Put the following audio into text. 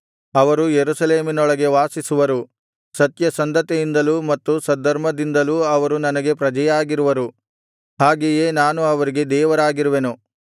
ಅವರು ಯೆರೂಸಲೇಮಿನೊಳಗೆ ವಾಸಿಸುವರು ಸತ್ಯಸಂಧತೆಯಿಂದಲೂ ಮತ್ತು ಸದ್ಧರ್ಮದಿಂದಲೂ ಅವರು ನನಗೆ ಪ್ರಜೆಯಾಗಿರುವರು ಹಾಗೆಯೇ ನಾನು ಅವರಿಗೆ ದೇವರಾಗಿರುವೆನು